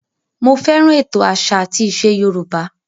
Mo fẹ́ràn ètò àṣà àti ìṣe Yorùbá